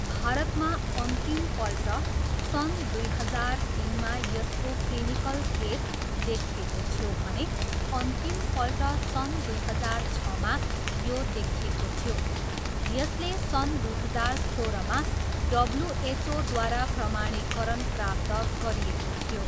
भारतमा अन्तिमपल्ट सन् दुई हजार तिनमा यसको क्लिनिकल केस देखिएको थियो भने अन्तिमपल्ट सन् दुई हजार छमा यो देखिएको थियो। यसले सन् दुई हजार सोह्रमा डब्ल्युएचओद्वारा प्रमाणीकरण प्राप्त गरिएको थियो।